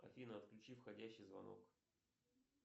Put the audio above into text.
афина отключи входящий звонок